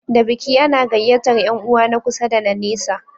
Da biki ana gayyatar Yan uwa na kusa da na nesa